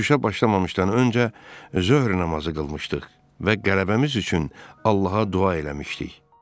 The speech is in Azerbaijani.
Uçuşa başlamamışdan öncə zöhr namazı qılmışdıq və qələbəmiz üçün Allaha dua eləmişdik.